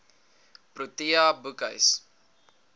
protea boekhuis